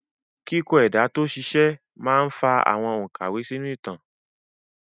Kíkọ ẹ̀dà tó ṣiṣẹ́ máa ń fa àwọn òkàwé sínú ìtàn náà.